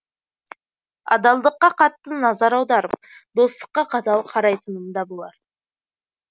адалдыққа қатты назар аударып достыққа қатал қарайтынымда болар